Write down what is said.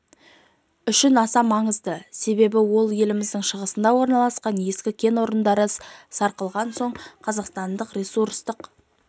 үшін аса маңызды себебі ол еліміздің шығысында орналасқан ескі кен орындары сарқылған соң қазақстандық ресурстық